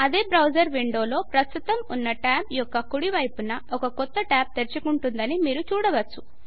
అదే బ్రౌజర్ విండోలో ప్రస్తుతం ఉన్న ట్యాబ్ యొక్క కుడి వైపున ఒక క్రొత్త ట్యాబ్ తెరుచుకుందని మీరు చూడవచ్చు